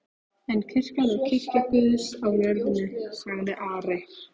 En kirkjan er kirkja Guðs á jörðinni, sagði Ari.